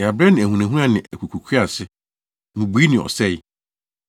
Yɛabrɛ ne ahunahuna ne akukuruhwease, mmubui ne ɔsɛe.”